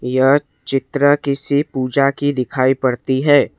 यह चित्र किसी पूजा की दिखाई पड़ती है।